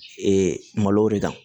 Ee malow de kan